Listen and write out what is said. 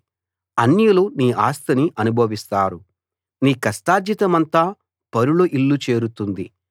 అన్యులు నీ ఆస్తిని అనుభవిస్తారు నీ కష్టార్జితమంతా పరుల ఇల్లు చేరుతుంది